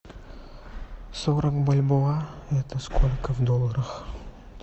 сорок бальбоа это сколько в долларах